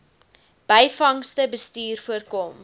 byvangste bestuur voorkom